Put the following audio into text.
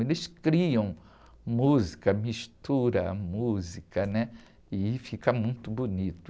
Eles criam música, misturam a música, né? E fica muito bonito.